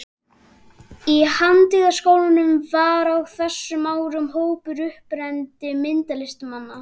Í Handíðaskólanum var á þessum árum hópur upprennandi myndlistarmanna.